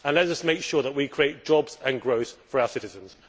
Let us make sure that we create jobs and growth for our citizens.